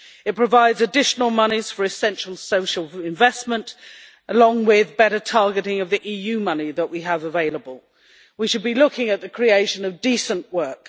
It provides additional monies for essential social investment, along with better targeting of the EU money we have available. We should be looking at the creation of decent work.